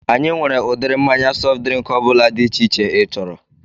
Anyị nwere udiri mmanya sọft drịnk ọbụla dị iche iche ị chọrọ